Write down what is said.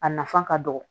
A nafa ka dɔgɔ